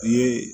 I ye